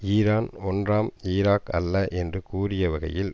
Iran ஒன்றாம் Iraq அல்ல என்று கூறியவகையில்